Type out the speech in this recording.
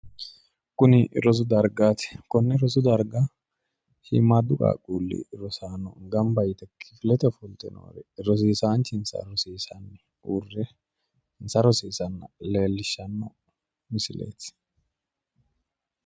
Kuni rosu dargaati. konne rosu darga shiimmaaddu qaaqquulli rosaano gamba yite kifilete ofolte noore rosiisaanchinsa rosiisanni uurre insa rosiisanna leellishshanno misileeti.